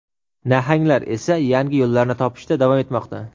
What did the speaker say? "nahang"lar esa yangi yo‘llarni topishda davom etmoqda.